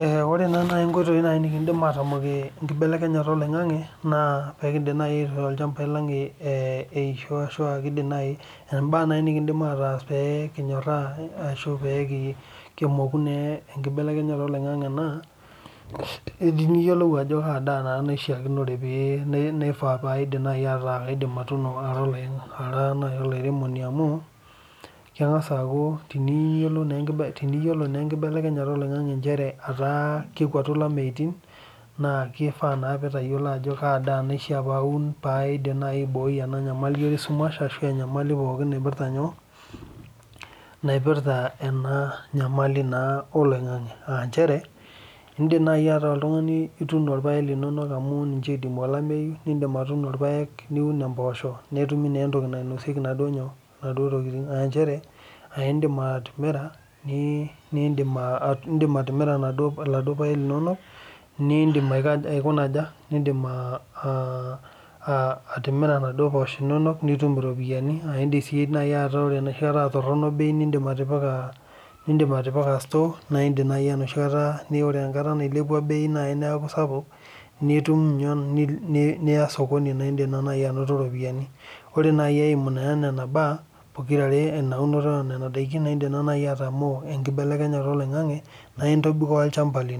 Ore naa naaji nkoitoi nikidim atamokie enkinelekenyata oloingange naa pee kidim aishoo ilchambai lang pee kimoku enkibelenyata oloingange naa edima tayiolo Ajo Kaa daa naifaa pee eku kaidim atuno Ara olairemoni amu teniyiolo nA enkibelenyata oloingange aa kekwatu elemeitin naa kishaa nitayiolo aja kadaa naishaa pee aun pee aidim aiboi enyamali esumash ashu enyamali naipirta ena nyamali oloingange aa Nkera edim najii ataa oltung'ani etuno irpaek amu ninche loidimu olamei nidim atuno irpaek niun mboshok nitum naa entoki nainosiekie naaduo tokitin aa edim atimira eladuo nidim atimira naaduo poshok enono nitum eropiani edim sii enoshi kata aa Torono bei nidim atipika store] ore enkata nailepua bei neeku sapuk Niya sokoni naa edim najii anoto ropiani ore eyimu Nena mbaa onena unoto onena daikin naa edim aitamoo enkibelenyata oloingange naa entobikoo olchamba lino